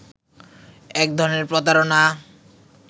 এক ধরনের প্রতারণা